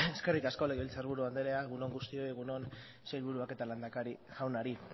eskerrik asko legebiltzarburu andrea egun on guztioi egun on sailburuak eta lehendakari jaunari